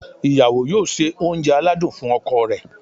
ìyàwó yóò se oúnjẹ aladún fún ọkọ rẹ̀